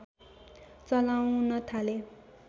चलाउन थाले